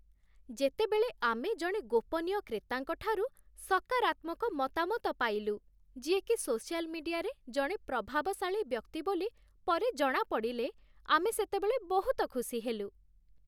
ଯେତେବେଳେ ଆମେ ଜଣେ ଗୋପନୀୟ କ୍ରେତାଙ୍କ ଠାରୁ ସକାରାତ୍ମକ ମତାମତ ପାଇଲୁ, ଯିଏକି ସୋସିଆଲ୍ ମିଡିଆରେ ଜଣେ ପ୍ରଭାବଶାଳୀ ବ୍ୟକ୍ତି ବୋଲି ପରେ ଜଣାପଡ଼ିଲେ, ଆମେ ସେତେବେଳେ ବହୁତ ଖୁସି ହେଲୁ